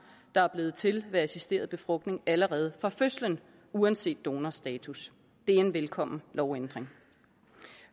der er blevet til ved assisteret befrugtning allerede fra fødslen uanset donorstatus det er en velkommen lovændring